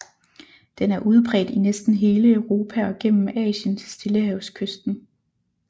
Den er udbredt i næsten hele Europa og gennem Asien til stillehavskysten